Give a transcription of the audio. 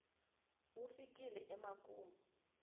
wu fikile emakumu